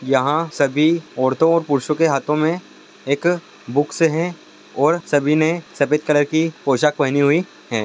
यहाँ सभी ओरतो और पुरुषो के हाथो में एक बुक्स है। और सभी ने सफ़ेद कलर की पोशाक पहेनी हुई है।